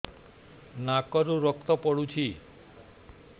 ନାକରୁ ରକ୍ତ ପଡୁଛି